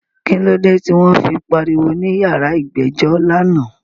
Kílódé tí wọ́n fi pariwo ní yàrá ìgbẹ́jọ́ lánàá?